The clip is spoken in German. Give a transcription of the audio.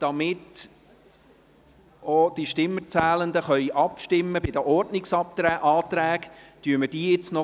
Damit auch die Stimmenzählenden über die Ordnungsanträge abstimmen können, erledigen wir diese gleich.